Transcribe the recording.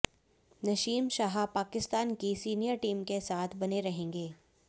नसीम शाह पाकिस्तान की senior team के साथ बने रहेंगे